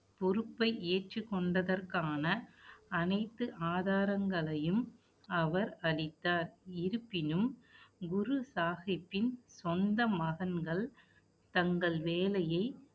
பொறுப்பை ஏற்றுக் கொண்டதற்கான அனைத்து ஆதாரங்களையும் அவர் அளித்தார். இருப்பினும், குரு சாகிப்பின் சொந்த மகன்கள் தங்கள் வேலையை